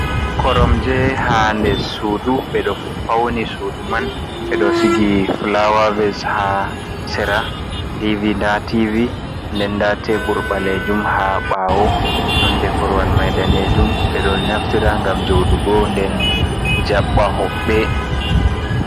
Korom je hader sudu bedo fauni sudu man ɓeɗo sigi flawaves ha sera dv, nda tvi nden nda tebur balejum ha bawo. Nonde korwal mai danejum ɓe ɗo naftira gam jodugo nden jabba hobbe.